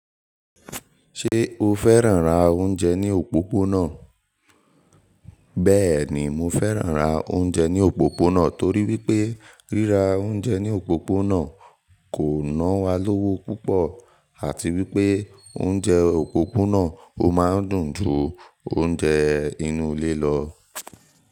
Ṣé o fẹ́ràn ra oúnjẹ ní òpópónà? Bẹ́ẹ̀ni, mo fẹ́ràn ra oúnjẹ ní òpópónà torí wípé ríra oúnjẹ ní òpópónà kò ná wa lówó púpọ̀ àti wípé oúnjẹ òpópónà ó máa ń dùn ju oúnjẹ inú ilé lọ.